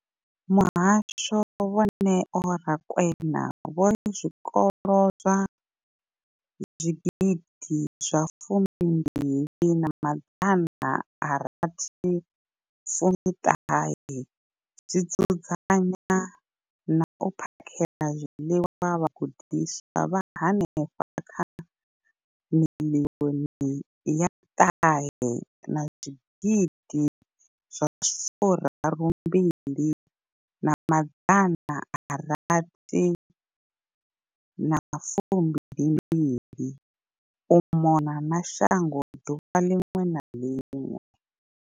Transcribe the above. Muhasho, Vho Neo Rakwena, vho ri zwikolo zwa 20 619 zwi dzudzanya na u phakhela zwiḽiwa vhagudiswa vha henefha kha 9 032 622 u mona na shango ḓuvha ḽiṅwe na ḽiṅwe.